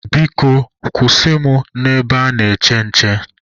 Biko kwụsị mụ na ebe ana-eche nche.